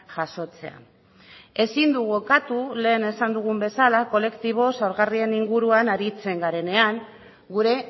jasotzea ezin dugu ukatu lehen esan dugun bezala kolektibo zaurgarrien inguruan aritzen garenean gure